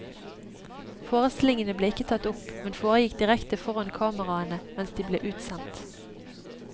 Forestillingene ble ikke tatt opp, men foregikk direkte foran kameraene mens de ble utsendt.